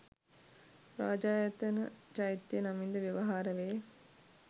රාජායතන චෛත්‍ය නමින්ද ව්‍යවහාර වේ.